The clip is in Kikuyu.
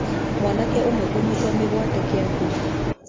Mwanake ũmwe kũnyiitwo mĩgwate Kĩambu